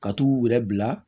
Ka t'u yɛrɛ bila